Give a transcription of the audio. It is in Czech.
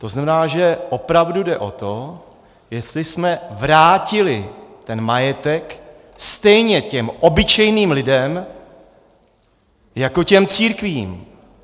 To znamená, že opravdu jde o to, jestli jsme vrátili ten majetek stejně těm obyčejným lidem jako těm církvím.